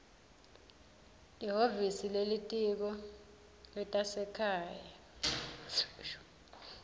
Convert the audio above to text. lihhovisi lelitiko letasekhaya